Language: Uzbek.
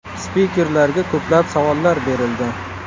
Spikerlarga ko‘plab savollar berildi.